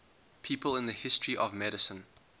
people in the history of medicine